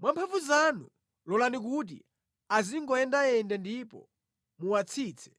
Mwa mphamvu zanu, lolani kuti azingoyendayenda ndipo muwatsitse.